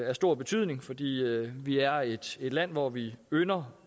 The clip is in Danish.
af stor betydning fordi vi er et land hvor vi ynder